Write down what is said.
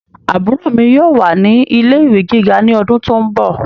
Àbúrò mi yóò wà ní ilé ìwé gíga ní ọdún tó ń bọ̀